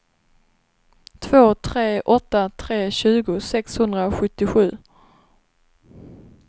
två tre åtta tre tjugo sexhundrasjuttiosju